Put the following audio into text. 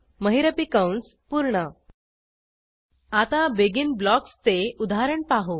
महिरपी कंस पूर्ण आता बेगिन ब्लॉक्सचे उदाहरण पाहू